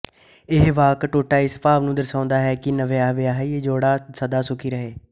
ਇਹ ਵਾਕ ਟੋਟਾ ਇਸ ਭਾਵ ਨੂੰ ਦਰਸਾਉਂਦਾ ਹੈ ਕਿ ਨਵਵਿਆਹਿਆ ਜੋੜਾ ਸਦਾ ਸੁਖੀ ਰਹੇ